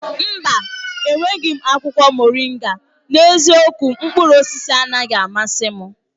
Mba! Enweghị m akwụkwọ moringa. N'eziokwu, mkpụrụ osisi anaghị amasị m.